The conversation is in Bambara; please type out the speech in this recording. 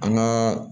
An ka